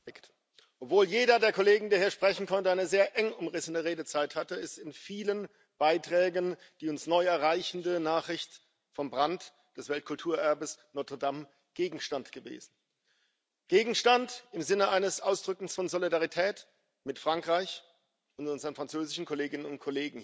Obwohl jeder der Kollegen, der hier sprechen konnte, eine sehr eng umrissene Redezeit hatte, ist in vielen Beiträgen die uns neu erreichende Nachricht vom Brand des Weltkulturerbes Notre Dame Gegenstand gewesen. Gegenstand im Sinne eines Ausdrückens von Solidarität mit Frankreich und unseren französischen Kolleginnen und Kollegen hier.